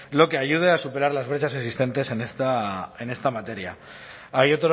lo que ayude a superar las brechas existentes en esta materia hay